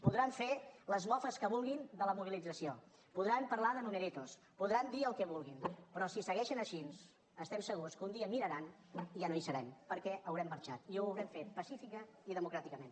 podran fer les mofes que vulguin de la mobilització podran parlar de numeritos podran dir el que vulguin però si segueixen així estem segurs que un dia miraran i ja no hi serem perquè haurem marxat i ho haurem fet pacíficament i democràticament